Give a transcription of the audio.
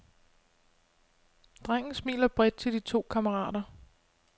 Drengen smiler bredt til de to kammerater.